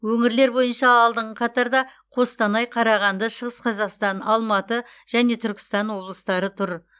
өңірлер бойынша алдыңғы қатарда қостанай қарағанды шығыс қазақстан алматы және түркістан облыстары тұр